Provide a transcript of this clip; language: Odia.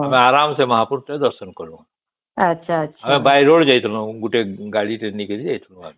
ଆମେ ଆରାମ ସେ ମହାପୁର କେ ଦର୍ଶନ କଲୁ ଆମେ by road ଯାଇଥିଲୁ ଗୋଟେ ଗାଡି ଟେ ନେଇକରି ଯାଇଥିଲୁ ଆମେ